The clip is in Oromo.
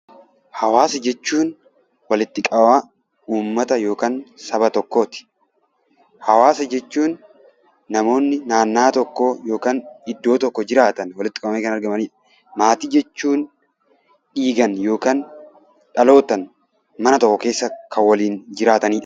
Hawaasa jechuun walitti qabama uummata yookaan saba tokkooti. Hawaasa jechuun namoonni naannaa tokkoo yookaan iddoo tokko jiraatan walitti qabamanii kan argamanidha. Maatii jechuun dhiigaan yookaan dhalootaan mana tokko keessa kan waliin jiraatanidha.